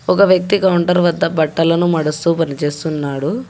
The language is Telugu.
ఒక వ్యక్తి కౌంటర్ వద్ద బట్టలను మడుస్తూ పనిచేస్తున్నాడు.